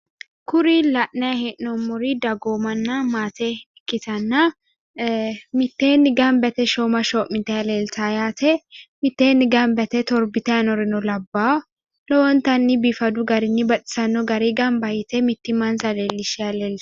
kuri la'nayi hee'noommori dagoomanna maate ikkitinota ee mitteenni ganba yite shooma shoo'mitanni leeltawo yaate mitteenni ganba yite torbitayi nooreno labbaa yaate lowontanni biifadu garinni baxisanno garinni mittimansa leellishanni no yaate.